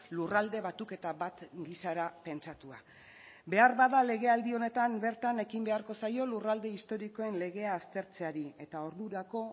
lurralde batuketa bat gisara pentsatua beharbada legealdi honetan bertan ekin beharko zaio lurralde historikoen legea aztertzeari eta ordurako